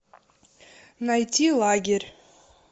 найти лагерь